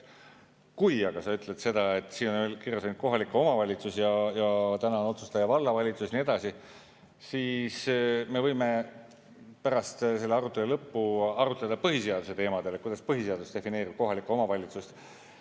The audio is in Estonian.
Kui sa aga ütled seda, et siin on kirjas ainult kohalik omavalitsus ja täna on otsustaja vallavalitsus ja nii edasi, siis me võime pärast selle arutelu lõppu arutleda põhiseaduse teemadel, kuidas põhiseadus defineerib kohalikku omavalitsust.